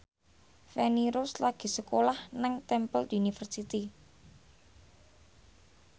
Feni Rose lagi sekolah nang Temple University